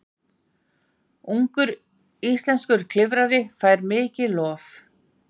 Ungur íslenskur klifrari fær mikið lof